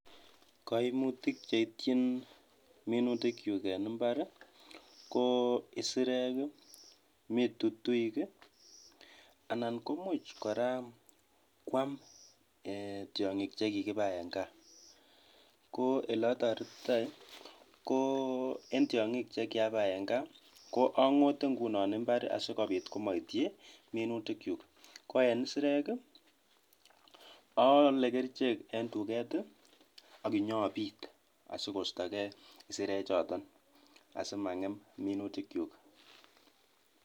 Koimutik cheityin minutikyuk en imbar ko isirek, mii tutuik i anan komuch kora kwam eeh tiong'ik chekikibai en kaa, ko elotoretitoi ko en tiongik chekiabai en kaa ko angote ingunon imbar asikobit komoityi minutyukuk, ko en isirek oole kerichek en tuket i okinyobit asimang'em minutikyuk.